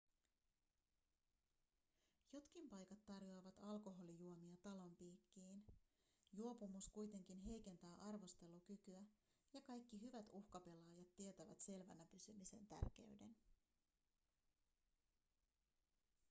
jotkin paikat tarjoavat alkoholijuomia talon piikkiin juopumus kuitenkin heikentää arvostelukykyä ja kaikki hyvät uhkapelaajat tietävät selvänä pysymisen tärkeyden